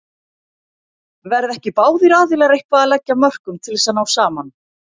Verða ekki báðir aðilar eitthvað að leggja af mörkum til þess að ná saman?